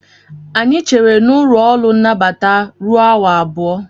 Anyị chere n'ụlọ ọrụ nnabata ruo awa abụọ